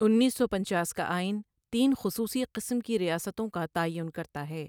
اُنیس سو پنچاس کا آئین تین خصوصی قسم کی ریاستوں کا تعین کرتا ہے۔